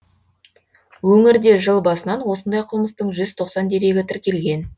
өңірде жыл басынан осындай қылмыстың жүз тоқсан дерегі тіркелген